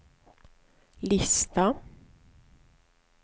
lista